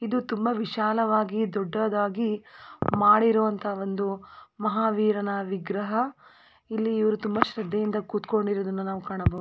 ಇದು ತುಂಬಾ ವಿಶಾಲವಾಗಿ ದೊಡ್ಡದಾಗಿ ಮಾಡಿರುವಂತ ಒಂದು ಮಹಾವೀರನ ವಿಗ್ರಹ ಇಲ್ಲಿ ಇವರು ತುಂಬಾ ಶ್ರದ್ದೆಯಿಂದ ಕೂತಕೊಂಡಿರುವುದನ್ನು ಕಾಣಬಹುದು.